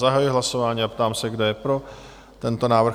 Zahajuji hlasování a ptám se, kdo je pro tento návrh?